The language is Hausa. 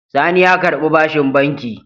Sani ya karɓi bashin banki.